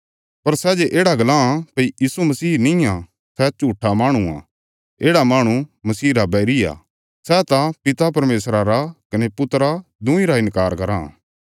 पर सै जे येढ़ा गल्लां भई यीशु मसीह निआं सै झूट्ठा माहणु आ येढ़ा माहणु मसीह रा बैरी आ सै त पिता परमेशरा रा कने पुत्रा दुईं रा इन्कार कराँ